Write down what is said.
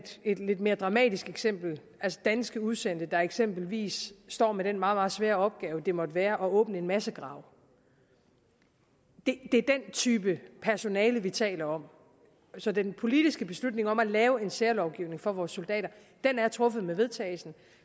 et lidt mere dramatisk eksempel er danske udsendte der eksempelvis står med den meget meget svære opgave det må være at åbne en massegrav det er den type personale vi taler om så den politiske beslutning om at lave en særlovgivning for vores soldater er truffet med vedtagelsen